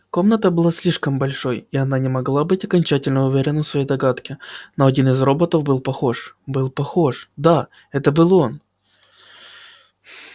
комната была слишком большой и она не могла быть окончательно уверена в своей догадке но один из роботов был похож был похож да это был он